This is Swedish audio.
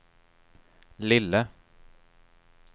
lille